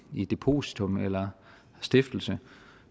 i depositum eller stiftelse